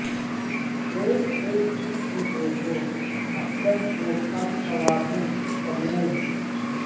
ایک اک جسم پہ ہو اطلس و کمخوابو سمور